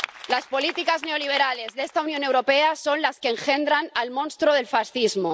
Las políticas neoliberales de esta Unión Europea son las que engendran el monstruo del fascismo.